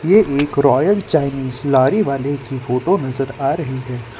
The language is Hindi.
ये एक रॉयल चाइनीज लॉरी वाले की फोटो नजर आ रही है।